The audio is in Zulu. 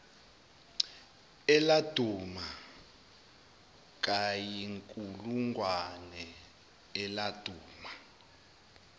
eladuma kayinkulungwane eladuma